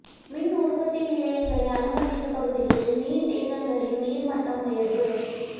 மின் உற்பத்தி நிலையங்களை அண்மித்த பகுதிகளில் நீர்த்தேக்கங்களின் நீர் மட்டம் உயர்வு